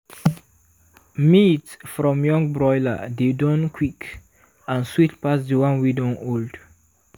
meat from young broiler dey done quick and sweet pass the one wey don old.